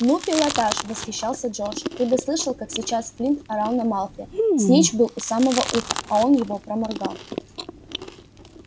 ну пилотаж восхищался джордж ты бы слышал как сейчас флинт орал на малфоя снитч был у самого уха а он его проморгал